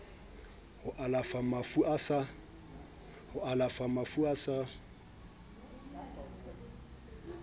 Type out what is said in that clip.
ho alafa mafu a sa